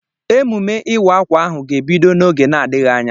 Emume ịwa akwa ahụ ga-ebido n'oge na-adịghị anya.